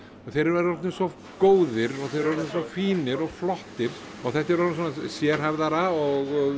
og þeir eru orðnir svo góðir og þeir eru orðnir svo fínir og flottir og þetta er orðið sérhæfðara og